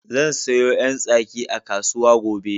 Zan sayo 'yan tsaki a kasu gobe.